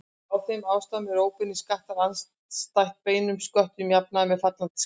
Af þeim ástæðum eru óbeinir skattar andstætt beinum sköttum jafnan með fallandi skattbyrði.